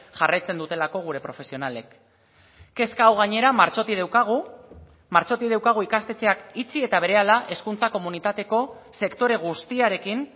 jarraitzen dutelako gure profesionalek kezka hau gainera martxotik daukagu martxotik daukagu ikastetxeak itxi eta berehala hezkuntza komunitateko sektore guztiarekin